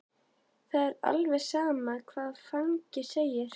Það er alveg sama hvað fangi segir.